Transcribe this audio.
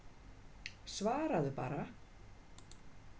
Svaraðu bara.